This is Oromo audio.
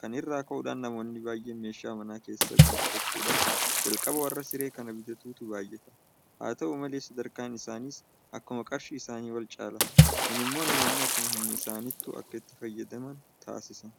Kana irraa ka'uudhaan namoonni baay'een meeshaa mana keessaa guuttachuudhaaf jalqaba warra Siree kana bitatutu baay'ata. Haata'u malee sadarkaan isaaniis akkuma qarshii isaanii walcaala. Kun immoo namoonni akkuma humna isaaniittu akka itti fayyafaman taasisa.